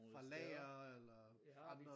Fra lager eller fra andre